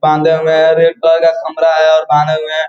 बांधा हुए है रेड कलर का कमरा है और बाँधे हुए है।